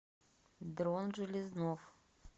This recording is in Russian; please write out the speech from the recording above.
дрон железнов